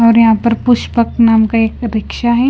और यहां पर पुष्पक नाम का एक रिक्शा है।